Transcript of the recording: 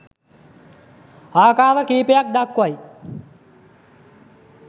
ආකාර කීපයක් දක්වයි